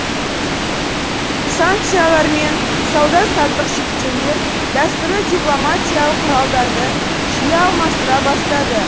санкциялар мен сауда саттық шектеулер дәстүрлі дипломатиялық құралдарды жиі алмастыра бастады